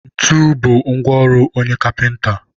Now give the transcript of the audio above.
ntu bụ ngwa ọrụ onye kapịnta.